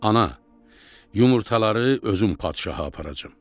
Ana, yumurtaları özüm padşaha aparacam.